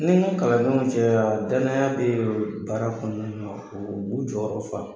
Ni mu kalan nenw cɛya danaya be ye o baara kɔnɔna na ob'u jɔyɔrɔ fa